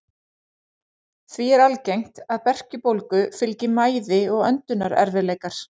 Því er algengt að berkjubólgu fylgi mæði og öndunarerfiðleikar.